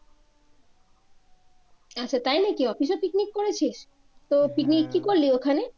আচ্ছা তাই নাকি অফিসে পিকনিক করেছিস তো পিকনিক কি করলি ওখানে?